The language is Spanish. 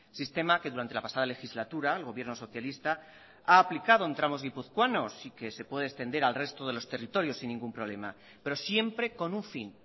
sistema que durante la pasada legislatura el gobierno socialista ha aplicado en tramos guipuzcoanos y que se puede extender al resto de los territorios sin ningún problema pero siempre con un fin